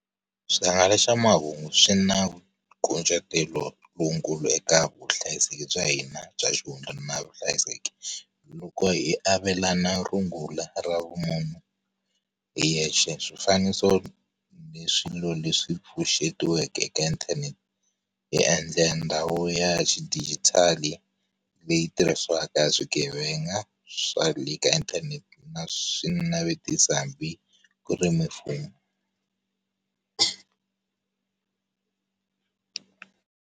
Swihangalasamahungu swi na nkucetelo lowukulu eka vuhlayiseki bya hina bya xihundla na vuhlayiseki. Loko hi avelana rungula ra vumunhu, hi yexe swifaniso leswi leswi pfuxetiweke eka inthanete, hi endla endhawu ya xidijitali, leyi tirhisiwaka hi swigevenga, swa le ka inthanete na swinavetiso hambi ku ri mimfumo.